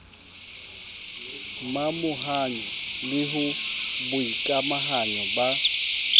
momahanyo le ho boikamahanyo ba